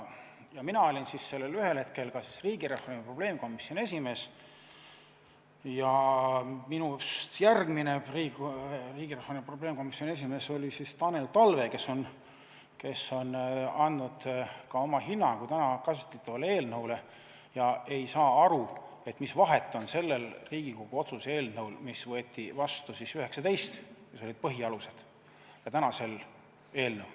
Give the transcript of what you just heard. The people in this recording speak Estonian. Mina olin siis ühel hetkel ka riigireformi probleemkomisjoni esimees ja minust järgmine riigireformi probleemkomisjoni esimees oli Tanel Talve, kes on andnud ka oma hinnangu täna käsitletavale eelnõule ega saa aru, mis vahet on sellel Riigikogu otsuse eelnõul, mis võeti vastu 2019, kus olid põhialused, ja tänasel eelnõul.